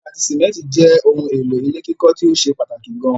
Omi ati simẹ́ntì jẹ́ ohun èlò ilé kíkọ́ tíó ṣe pàtàkì gan